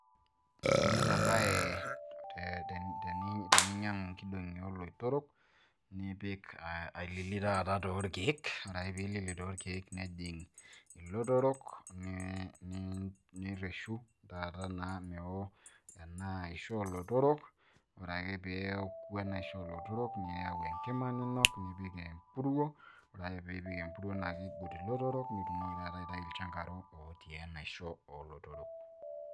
ketumi ena bae teninyiang'u inkidong'i oolotorok, nipik ailili taata toorkeek, ore ake pee ilili toorkeek, nejing' ilotorok. nireshu taata naa meo ena aisho oolotorok, ore ake pee eku enaisho olotorok, niyau enkima ninok, nipik empuruo, ore ake pee ipik empuruo naa king'ut ilotorok naa itumoki taata aitayu ilchankaro ootii enaisho oolotorok.